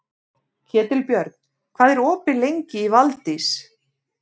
Ketilbjörn, hvað er opið lengi í Valdís?